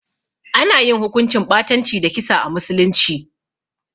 Ana yin hukuncin ɓatanci da kisa a musulunci.